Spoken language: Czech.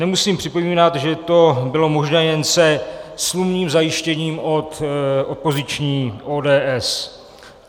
Nemusím připomínat, že to bylo možné jen se smluvním zajištěním od opoziční ODS.